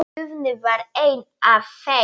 Guðný var ein af þeim.